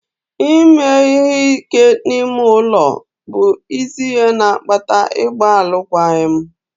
Ime ihe ike n'ime ụlọ bụ isi ihe na-akpata ịgba alụkwaghịm.